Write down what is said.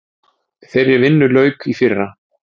Þeirri vinnu lauk í fyrra.